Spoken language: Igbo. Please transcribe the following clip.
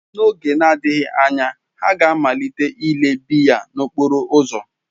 N'oge na-adịghị anya, ha ga-amalite ile biya n'okporo ụzọ.